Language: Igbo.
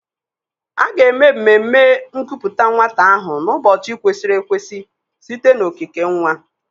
A ga-eme mmemme nkupute nwata ahụ n'ụbọchị kwesịrị ekwesị site na okike nwa.